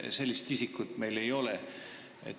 Sellist isikut meil ei ole.